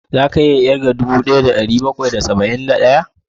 Za ka iya ƙirga dubu ɗaya da ɗari bakwai da saba'in da ɗaya?